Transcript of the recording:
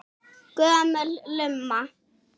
Gömul lumma.